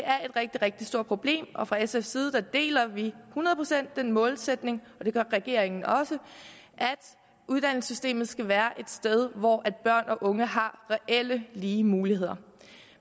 rigtig stort problem og fra sfs side deler vi hundrede procent den målsætning og det gør regeringen også at uddannelsessystemet skal være et sted hvor børn og unge har reelt lige muligheder